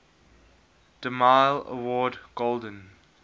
demille award golden